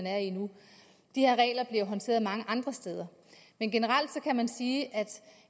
er i nu de her regler bliver håndteret mange andre steder men generelt kan man sige at